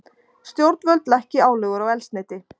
Stjórnvöld lækki álögur á eldsneyti